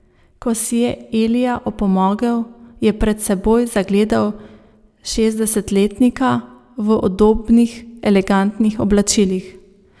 Ko si je Elija opomogel, je pred seboj zagledal šestdesetletnika v udobnih elegantnih oblačilih.